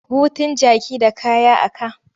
Hutun jaki da kaya a ka.